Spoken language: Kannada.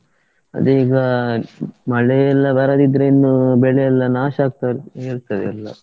ಅದೇ ಈಗ ಮಳೆಯೆಲ್ಲಾ ಬರದಿದ್ರೆ ಇನ್ನು ಬೆಳೆಯೆಲ್ಲಾ ನಾಷ ಆಗ್ತಾ ಇರ್ತದೆ ಎಲ್ಲಾ.